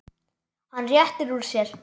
Hann rétti úr sér.